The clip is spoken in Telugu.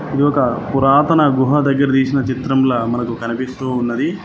ఇది ఒక పురాతన గుహ దగ్గర తీసిన చిత్రంల మనకు కనిపిస్తూ ఉన్నది.